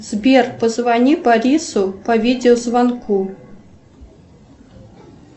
сбер позвони борису по видеозвонку